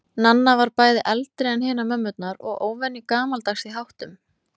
Nanna var bæði eldri en hinar mömmurnar og óvenju gamaldags í háttum.